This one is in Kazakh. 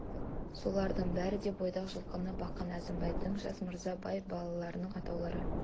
солардың бәрі де бойдақ жылқыны баққан әзімбайдай жас мырза бай балаларының атаулары